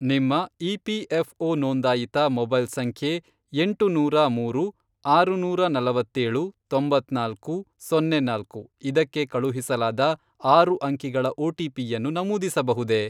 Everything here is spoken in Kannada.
ನಿಮ್ಮ ಇಪಿಎಫ಼್ಒ ನೋಂದಾಯಿತ ಮೊಬೈಲ್ ಸಂಖ್ಯೆ, ಎಂಟು ನೂರಾ ಮೂರು, ಆರುನೂರಾ ನಲವತ್ತೇಳು, ತೊಂಬತ್ನಾಲ್ಕು , ಸೊನ್ನೆ ನಾಲ್ಕು, ಇದಕ್ಕೆ ಕಳುಹಿಸಲಾದ ಆರು ಅಂಕಿಗಳ ಒಟಿಪಿಯನ್ನು ನಮೂದಿಸಬಹುದೇ?